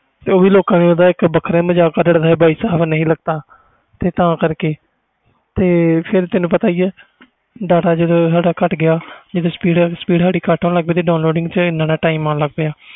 ਉਹ ਵੀ ਲੋਕਾਂ ਨੇ ਵੱਖਰਾ ਮਾਜਕ ਕੱਢਤਾ ਬਾਈ ਸਾਹਿਬ ਨਹੀਂ ਲਗਦਾ ਤੇ ਤਾ ਕਰਕੇ ਤੁਹਾਨੂੰ ਪਤਾ ਹੀ ਜਦੋ data ਘੱਟ ਗਿਆ ਜਦੋ speed ਘੱਟ ਹੋਣ ਲੱਗ ਗਈ downloading ਵਿਚ ਜਿਆਦਾ time ਲਗ ਗਿਆ